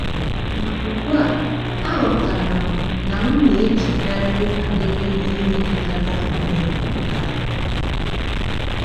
Ma ugbu a, aghọtara m na m na-echekarị banyere ihe metụtara onwe m naanị.